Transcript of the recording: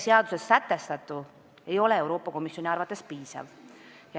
Seaduses sätestatu ei ole Euroopa Komisjoni arvates piisav.